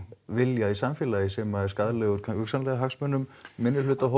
vilja í samfélagi sem er skaðlegur hugsanlega hagsmunum minnihlutahópa